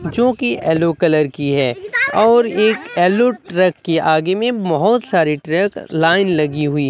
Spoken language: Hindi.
जो की एलो कलर की है और एक एलो ट्रक के आगे में बहोत सारी ट्रक लाइन लगी हुई --